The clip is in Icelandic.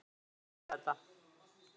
Allir vita þetta.